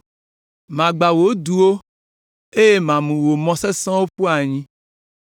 Magbã wò duwo eye mamu wò mɔ sesẽwo aƒu anyi.